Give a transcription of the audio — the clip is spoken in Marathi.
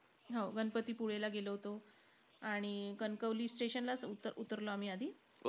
हो, गणपतीपुळेला गेलो होतो. आणि कणकवली station लाचं ऊत उतरलो आम्ही आधी.